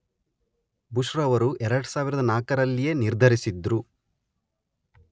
Bush ರವರು ಎರಡು ಸಾವಿರದ ನಾಲ್ಕರಲ್ಲಿಯೇ ನಿರ್ಧರಿಸಿದ್ದರು.